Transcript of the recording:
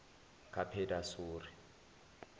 kapedasori